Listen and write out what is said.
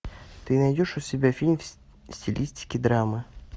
ты найдешь у себя фильм в стилистике драма